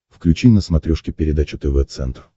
включи на смотрешке передачу тв центр